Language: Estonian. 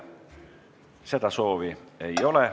Seda soovi ei ole.